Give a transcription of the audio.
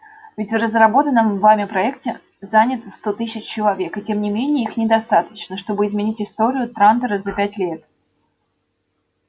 ведь в разработанном вами проекте занято сто тысяч человек и тем не менее их недостаточно чтобы изменить историю трантора за пятьсот лет